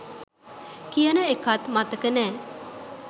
කියන එකත් මතක නෑ